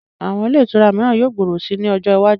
Àwọn ilé ìtura mìíran yóò gbòòrò si ní ọjọ iwájú